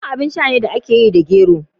Kunu abin sha ne da aka yi da gero.